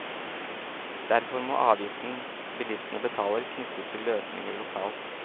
Derfor må avgiften bilistene betaler, knyttes til løsninger lokalt.